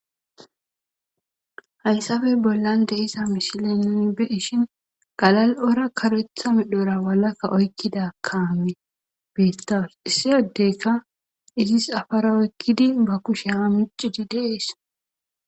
Hayssappe bollan de'iza misilen nuni be'ishi galal'ora karetha medhora walakka oykkida kaame beetawus. Issi adde izis cafara oykkidi ba kushiya ha miccid de'ees.